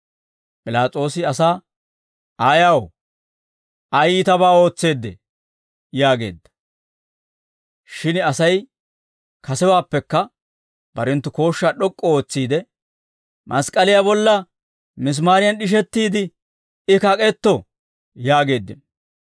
P'ilaas'oosi asaa, «Ayaw? Ay iitabaa ootseedee?» yaageedda. Shin Asay kasewaappekka barenttu kooshshaa d'ok'k'u ootsiide, «Mask'k'aliyaa bolla misimaariyan d'ishettiide I kak'etto» yaageeddino.